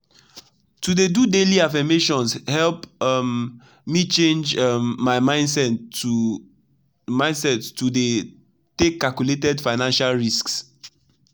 to dey do daily affirmations help um me change um my mindset to mindset to dey take calculated financial risks.